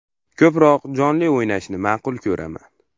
Ko‘proq jonli o‘ynashni ma’qul ko‘raman.